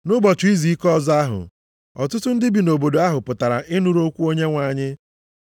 Nʼụbọchị izuike ọzọ ahụ, ọtụtụ ndị bi nʼobodo ahụ pụtara ịnụrụ okwu Onyenwe anyị.